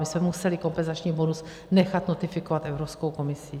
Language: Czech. My jsme museli kompenzační bonus nechat notifikovat Evropskou komisí.